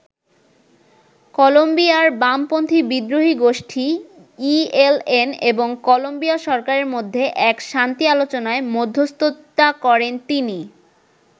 কলম্বিয়ার বামপন্থী বিদ্রোহী গোষ্ঠী ইএলএন এবং কলম্বিয়া সরকারের মধ্যে এক শান্তি আলোচনায় মধ্যস্থতা করেন তিনি।